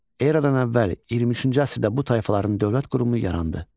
Eradan əvvəl 23-cü əsrdə bu tayfaların dövlət qurumu yarandı.